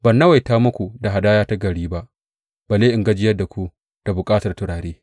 Ban nawaita muku da hadaya ta gari ba balle in gajiyar da ku da bukatar turare.